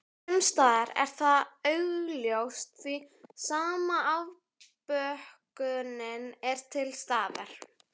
Sumsstaðar er það augljóst því sama afbökunin er til staðar.